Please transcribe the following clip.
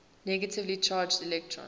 negatively charged electrons